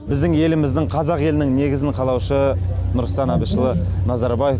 біздің еліміздің қазақ елінің негізін қалаушы нұрсұлтан әбішұлы назарбаев